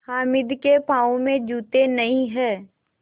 हामिद के पाँव में जूते नहीं हैं